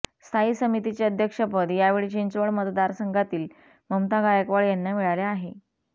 स्थायी समितीचे अध्यक्षपद यावेळी चिंचवड मतदारसंघातील ममता गायकवाड यांना मिळाले आहे